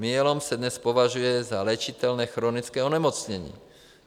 Myelom se dnes považuje za léčitelné chronické onemocnění.